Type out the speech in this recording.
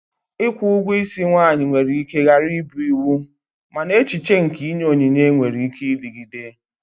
Ikwu ugwo isi nwanyi nwere ike ghara ịbụ iwu, mana echiche nke inye onyinye nwere ike ịdịgide.